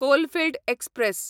coalfield express